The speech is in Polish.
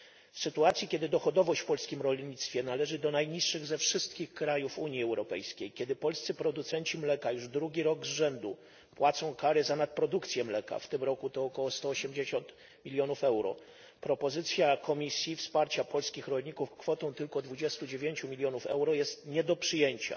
W sytuacji kiedy dochodowość w polskim rolnictwie należy do najniższych ze wszystkich krajów Unii Europejskiej, kiedy polscy producenci mleka już drugi rok z rzędu płacą kary za nadprodukcję mleka w tym roku to około sto osiemdziesiąt milionów euro propozycja Komisji wsparcia polskich rolników kwotą tylko dwudziestu dziewięciu milionów euro jest nie do przyjęcia.